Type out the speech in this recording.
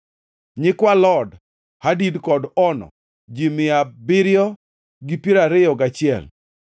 nyikwa Lod, Hadid kod Ono, ji mia abiriyo gi piero ariyo gachiel (721),